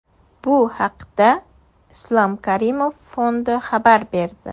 Bu haqda Islom Karimov fondi xabar berdi .